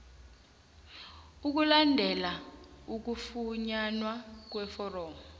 ukulandela ukufunyanwa kweforomo